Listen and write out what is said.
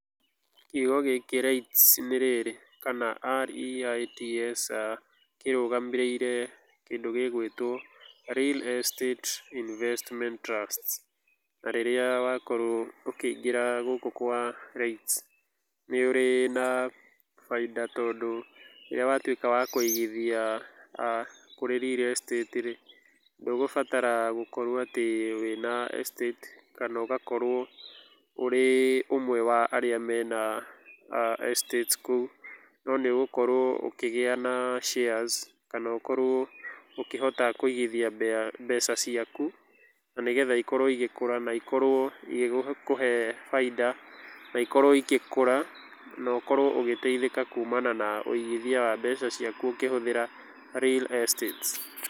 Kiugo gĩkĩ REITS nĩ rĩrĩ kana REITS kĩrũgamĩrĩire kĩndũ gĩgwĩtwo Real Estate Investment Trusts na rĩrĩa wakorwo ũkĩingĩra gũkũ kwa REITS nĩ ũrĩ na baita tondũ rĩrĩa watuĩka wa kũigithia kũrĩ Real Estate rĩ, ndũgũbatara gũkorwo atĩ wĩna Estate kana ũgakorwo ũrĩ ũmwe wa arĩa mena Estate kũu no nĩ ũgũkorwo ũkĩgĩa na shares kana ũkorwo ũkĩhota kũigithia mbeca ciaku na nĩgetha gũkorwo ĩgĩkũra na ikorwo igĩkũhe baita na ikorwo igĩkũra na ũkorwo ũgĩteithĩka kumana na mbeca ciaku ũkĩhũthĩra Real Estate.